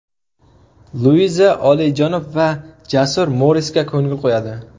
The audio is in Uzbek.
Luiza olijanob va jasur Morisga ko‘ngil qo‘yadi.